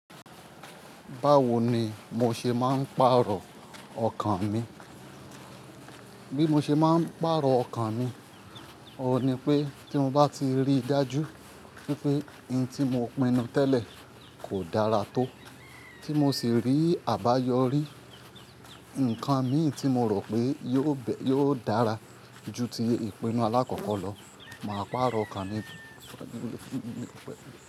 Báwo ni mo ṣe máa ń pàrọ̀ ọkàn mi? Bí mo ṣe máa ń pàrọ̀ ọkàn mi, òun ni pé tí mo bá ti rí dájú wípé in tí mo pinnu tẹ́lẹ̀ kò dára tó, tí mo sì rí àbáyọrí nǹkan mí tí mo rò pé yóò bẹ́ yóò dára ju ti ìpinnu alákọ̀kọ lọ, màá pàrọ̀ ọkàn mi.